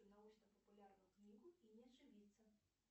научно популярную книгу и не ошибиться